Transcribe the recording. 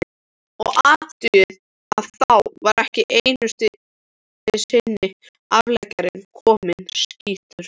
Og athugið að þá var ekki einusinni afleggjarinn kominn, skýtur